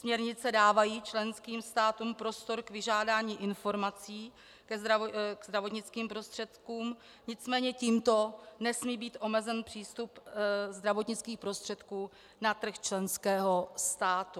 Směrnice dávají členským státům prostor k vyžádání informací k zdravotnickým prostředkům, nicméně tímto nesmí být omezen přístup zdravotnických prostředků na trh členského státu.